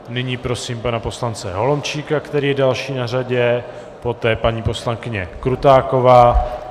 Nyní prosím pana poslance Holomčíka, který je další na řadě, poté paní poslankyně Krutáková.